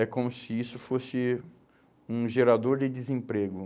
É como se isso fosse um gerador de desemprego.